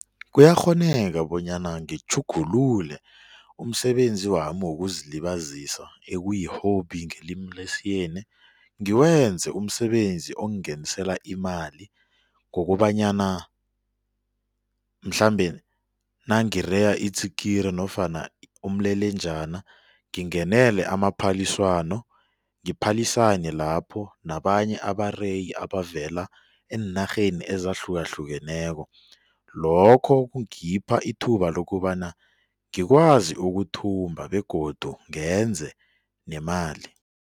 Kuyakghoneka bonyana ngitjhugulule umsebenzi wami wokuzilibazisa ekuyi-hobby ngelimi lesiyeni ngiwenze umsebenzi ongenisela imali ngokobanyana mhlambe nangireya itsikiri nofana umlelenjana ngingenele amaphaliswano ngiphalisane lapho nabanye abareyi abavela eenarheni ezahlukahlukeneko lokho kungipha ithuba lokobana ngikwazi ukuthumba begodu ngenze nemali.